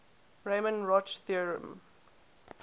riemann roch theorem